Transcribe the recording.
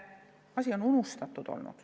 Asi on unustatud olnud.